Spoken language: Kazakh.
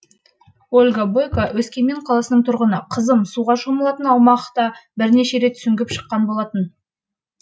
ольга бойка өскемен қаласының тұрғыны қызым суға шомылатын аумақта бірнеше рет сүңгіп шыққан болатын